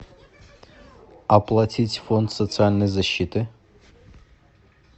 оплатить фонд социальной защиты